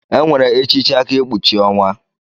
Enwere echichi aka ekpuchi onwa.